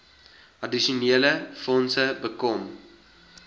addisionele fondse bekom